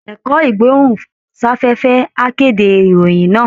Ẹ̀kọ́ Ìgbóhùn-sáfẹ́fẹ́ á kéde ìròyìn náà